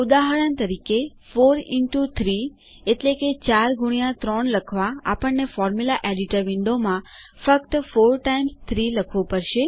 ઉદાહરણ તરીકે4 ઇન્ટો 3 એટલેકે ૪ ગુણ્યા ૩ લખવાઆપણને ફોર્મ્યુલા એડિટર વિન્ડોમાં ફક્ત 4 ટાઇમ્સ 3એટલે કે ૪ વાર ૩ લખવું પડશે